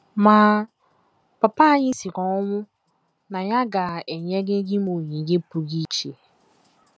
* Ma papa anyị siri ọnwụ na ya ga - enyerịrị m onyinye pụrụ iche.